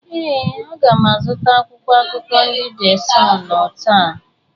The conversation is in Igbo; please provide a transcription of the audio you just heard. Ee, a ga m azụta akwụkwọ akụkọ ndị de Sunụ taa.